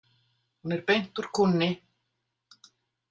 Hún er beint úr kúnni